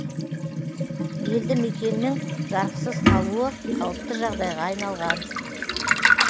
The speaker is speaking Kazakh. елді мекеннің жарықсыз қалуы қалыпты жағдайға айналған